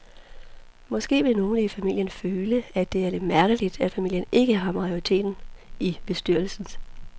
Måske vil nogle i familien føle, at det er lidt mærkeligt, at familien ikke har majoriteten i fondsbestyrelsen.